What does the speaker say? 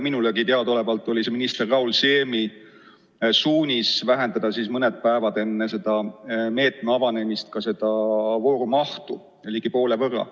Minulegi teadaolevalt oli see minister Raul Siemi suunis vähendada mõned päevad enne meetme avanemist selle vooru mahtu ligi poole võrra.